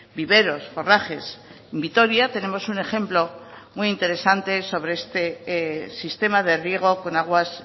viveros forrajes en vitoria tenemos un ejemplo muy interesante sobre este sistema de riego con aguas